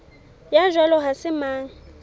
ya jwalo ha se mang